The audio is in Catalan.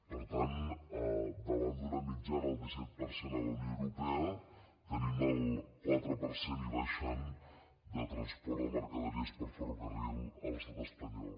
per tant davant d’una mitjana del disset per cent a la unió europea tenim el quatre per cent i baixant de transport de mercaderies per ferrocarril a l’estat espanyol